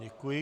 Děkuji.